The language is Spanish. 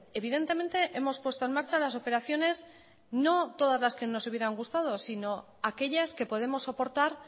evidentemente hemos puesto en marcha las operaciones no todas las que nos hubieran gustado sino aquellas que podemos soportar